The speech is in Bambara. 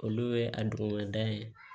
Olu ye a duguba da ye